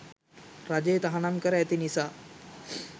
රජය තහනම් කර ඇති නිසා